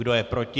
Kdo je proti?